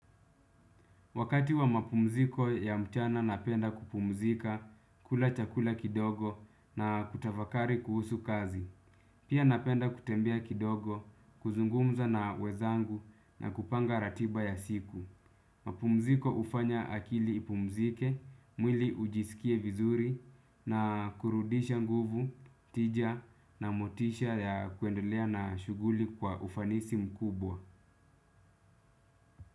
Wakati wa mapumziko ya mchana napenda kupumzika kula chakula kidogo na kutafakari kuhusu kazi. Pia napenda kutembea kidogo, kuzungumza na wenzangu na kupanga ratiba ya siku. Mapumziko hufanya akili ipumzike, mwili ujisikie vizuri na kurudisha nguvu, tija na motisha ya kuendelea na shughuli kwa ufanisi mkubwa.